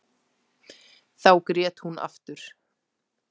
Þá grét hún aftur.